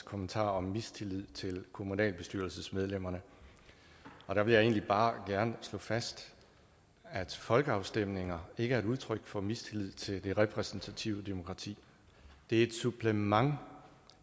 kommentar om mistillid til kommunalbestyrelsesmedlemmerne der vil jeg egentlig bare gerne slå fast at folkeafstemninger ikke er et udtryk for mistillid til det repræsentative demokrati det er et supplement